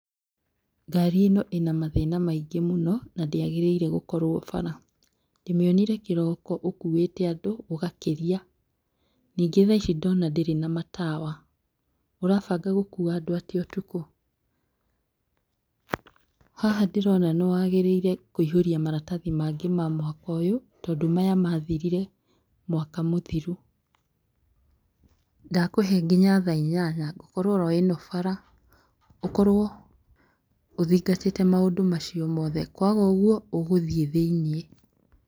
Ngari ĩno ĩna mathĩna maingĩ mũno, na ndĩagĩrĩire gũkorwo bara, ndĩmĩonire kĩroko ũkuĩte andũ ũgakĩria ningĩ thaa Ici ndona ndĩrĩ na matawa, ũrabanga gũkua andũ atĩa ũtukũ? Haha ndĩrona nĩ wagĩrĩire kũihũria maratathi mangĩ ma mwaka ũyũ tondũ maya mathiĩte mwaka mũthiru, ndakũhe nginya thaa inyanya ngũkorwo o ĩno bara ũkorwo ũthingatĩte maũndũ macio mothe kwaga ũguo ũgũthiĩ thĩiniĩ.